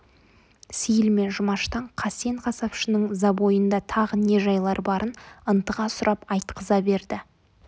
сейіл мен жұмаштан қасен қасапшының забойында тағы не жайлар барын ынтыға сұрап айтқыза берді